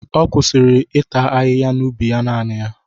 Ọ kwụsịrị ịta ahịhịa n'ubi ya naanị ya.